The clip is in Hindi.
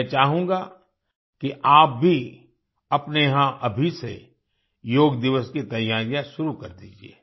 मैं चाहूँगा कि आप भी अपने यहाँ अभी से योग दिवस की तैयारियाँ शुरू कर दीजिये